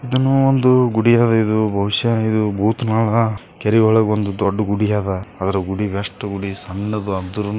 ಇದ್ ಏನೋ ಒಂದ್ ಗುಡಿ ಅದೆ ಬಹುಶ ಇದು ಬೂತ್ ಮಲ ಕೇರಿ ಒಳಗ್ ಒಂದ್ದೊಡ್ಡ್ ಗುಡಿ ಅದ ಅದ್ರ್ ಗುಡಿಗ್ ಅಷ್ಟ್ ಗುಡಿ ಸಣ್ಣದು ಅದ್ರನು.